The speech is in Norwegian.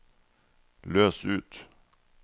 løs ut